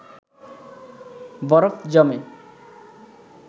বরফ জমে